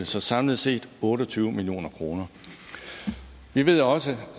så samlet set otte og tyve million kroner vi ved også